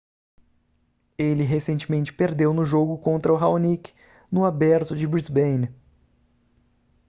ele recentemente perdeu no jogo contra raonic no aberto de brisbane